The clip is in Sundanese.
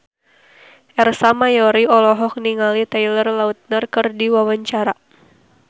Ersa Mayori olohok ningali Taylor Lautner keur diwawancara